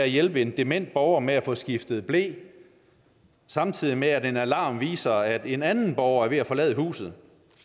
hjælpe en dement borger med at få skiftet ble samtidig med at en alarm viser at en anden borger er ved at forlade huset